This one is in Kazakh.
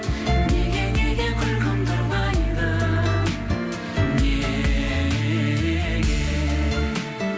неге неге күлкімді ұрлайды неге